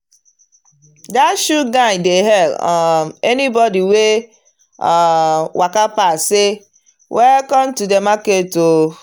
that shoe guy dey hail um anybody wey um waka pass say “welcome to the market o”.